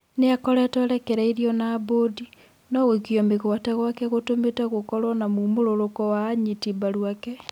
Nĩ akoretwo arekereirio na mbũndi, no gũikio mĩgwate gwake gũtũmite gũkorwo na mumũrũrũko wa anyiti mbaru ake.